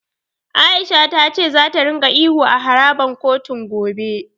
A'isha ta ce za ringa ihu a harabar kotun, gobe.